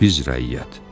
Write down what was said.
biz rəiyyət.